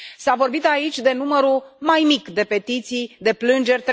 S a vorbit aici de numărul mai mic de petiții, de plângeri,